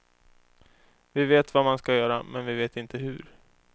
Vi vet vad man ska göra, men vi vet inte hur.